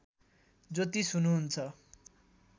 ज्योतिष हुनुहुन्छ